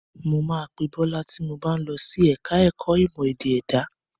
Mo máa pe Bọ́lá ti mo bá ń lọ sí ẹ̀ka ẹ̀kọ́ ìmọ̀ ẹ̀dá èdè.